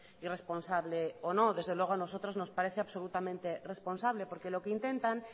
irresponsable o no desde luego a nosotros nos parece absolutamente responsable porque lo que intentan